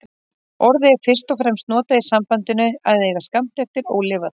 Orðið er fyrst og fremst notað í sambandinu að eiga skammt eftir ólifað.